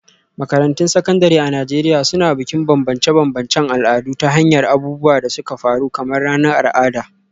Makarantun Sakandare a Najeriya Suna Bukin bambance-bambancen al'adu ta hanyar abubuwan da suka faru kamar ranar al'ada.